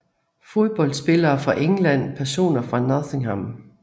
Fodboldspillere fra England Personer fra Nottingham